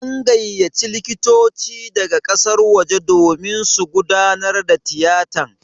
An gayyaci likitoci daga ƙasar waje domin su gudanar da tiyatan.